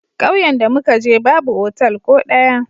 Kauyen da mu ka je, babu otal ko daya.